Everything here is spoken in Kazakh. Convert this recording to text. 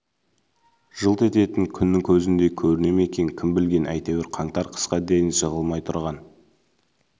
жылт ететін күннің көзіндей көріне ме екен кім білген әйтеуір қаңтар қысқа дейін жығылмай тұрған